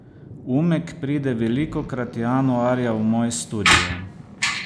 Umek pride velikokrat januarja v moj studio.